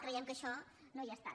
cre·iem que això no ha estat